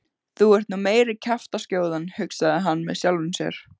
Þú ert nú meiri kjaftaskjóðan hugsaði hann með sjálfum sér.